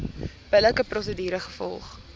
billike prosedure gevolg